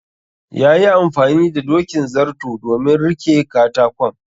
yayi amfani da dokin zarto domin rike katakon